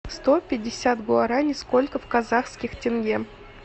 сто пятьдесят гуараней сколько в казахских тенге